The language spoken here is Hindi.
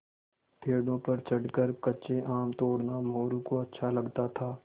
पेड़ों पर चढ़कर कच्चे आम तोड़ना मोरू को अच्छा लगता था